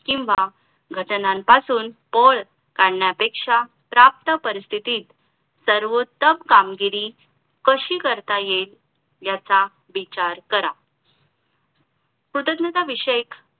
किंवा घटनांपासून पळ काढण्यापेक्षा प्राप्त परिस्थितीत सर्वोत्तम कामगिरी कशी करता येईल ह्याचा विचार करा कृतज्ञताविषयक